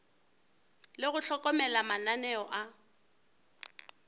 le go hlokomela mananeo a